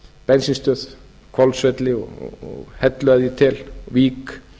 bensínstöð hvolsvelli og hellu að ég tel vík